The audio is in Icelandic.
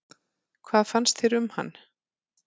Hvað fannst þér um hann?